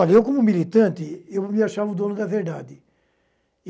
Olha, eu como militante, eu me achava o dono da verdade.